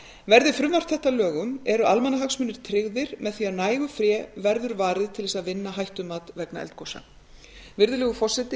verði frumvarp þetta að lögum eru almannahagsmunir tryggðir með því að nægu fé verður varið til að vinna hættumat vegna eldgosa virðulegur forseti